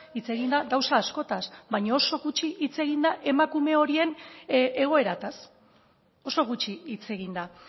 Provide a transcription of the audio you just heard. hitz egin da gauza askotaz baina oso gutxi hitz egin da emakume horien egoeraz oso gutxi hitz egin da